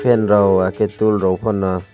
fan rok wakhe tol rok pono.